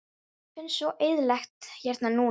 Mér finnst svo eyðilegt hérna núna.